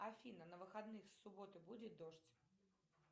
афина на выходных с субботы будет дождь